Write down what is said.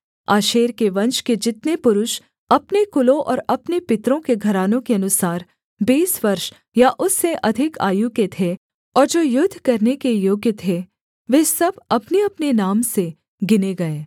आशेर के वंश के जितने पुरुष अपने कुलों और अपने पितरों के घरानों के अनुसार बीस वर्ष या उससे अधिक आयु के थे और जो युद्ध करने के योग्य थे वे सब अपनेअपने नाम से गिने गए